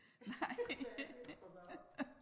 Hvad er det for noget